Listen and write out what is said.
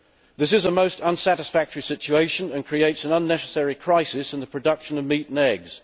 This is a most unsatisfactory situation and creates an unnecessary crisis in the production of meat and eggs.